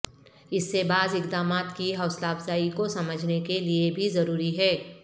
اس سے بعض اقدامات کی حوصلہ افزائی کو سمجھنے کے لئے بھی ضروری ہے